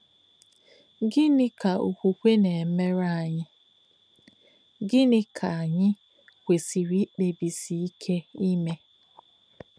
Gínị̀ kà òkwùkwè nà-èmèrè ányị̀, gịníkà kà ányị̀ kwèsìrì ìkpèbísì íké ímè?